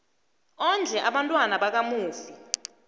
ondle abantwana bakamufi